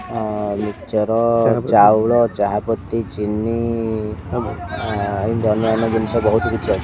ଅ ମିଚର ଚାଉଳ ଚାହା ପତି ଚିନି ଆଁ ଇନ୍ତି ଅନ୍ୟାନ୍ୟ ଜିନିଷ ବୋହୁତ୍ କିଛି ଅଛି।